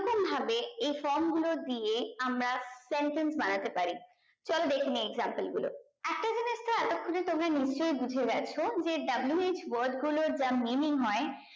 কি রকম ভাবে এই from গুলো দিয়ে আমরা sentence বানাতে পারি চলো দেখেনি example গুলো একটা জিনিসটা এতক্ষনে তোমরা নিশ্চয় বুঝে গেছো যে wh word গুলোর যা meaning হয়